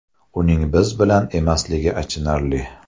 Uning biz bilan emasligi achinarli.